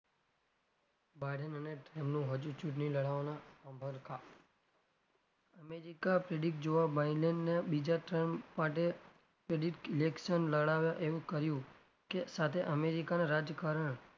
ભારત અને તેમનું હજુ ચુંટણી લડાવાના અભડકા america predict જોવાં wayland ને બીજા માટે term માટે election લડાવા એમ કહ્યું કે સાથે america ના રાજકારણ,